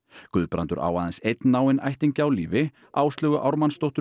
Guðbrandur á aðeins einn náinn ættingja á lífi Áslaugu